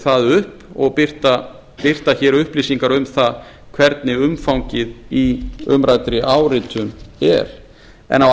það upp og birta hér upplýsingar um það hvernig umfangið í umræddri áritun er en á